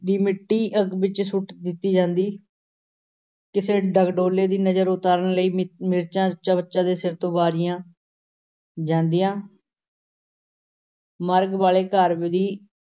ਦੀ ਮਿੱਟੀ ਅੱਗ ਵਿਚ ਸੁੱਟ ਦਿੱਤੀ ਜਾਂਦੀ ਕਿਸੇ ਡਗਡੋਲੋ ਦੀ ਨਜ਼ਰ ਉਤਾਰਨ ਲਈ ਮਿ~ ਮਿਰਚਾਂ ਜੱਚਾ-ਬੱਚਾ ਦੇ ਸਿਰ ਤੋਂ ਵਾਰੀਆਂ ਜਾਂਦੀਆਂ ਮਰਗ ਵਾਲੇ ਘਰ ਦੀ